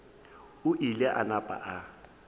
o ile a napa a